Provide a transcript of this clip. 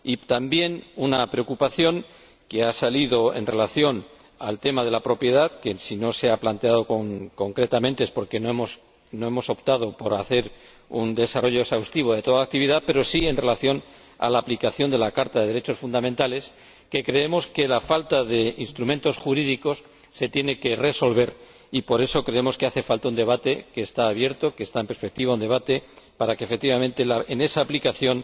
También deseamos manifestar una preocupación que ha surgido en relación con el tema de propiedad y que no se ha planteado concretamente porque hemos optado por no hacer un desarrollo exhaustivo de toda la actividad, salvo en relación con la aplicación de la Carta de los Derechos Fundamentales creemos que la falta de instrumentos jurídicos se tiene que resolver y, por eso, creemos que hace falta un debate —que está abierto, que está en perspectiva—, un debate para que, efectivamente, en esa aplicación